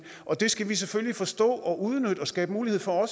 og det skal vi selvfølgelig forstå at udnytte og skabe mulighed for